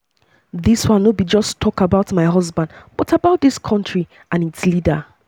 "dis one no be just just about my husband but about dis country and its leader."